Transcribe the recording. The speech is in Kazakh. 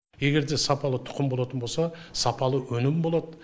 егер де сапалы тұқым болатын болса сапалы өнім болады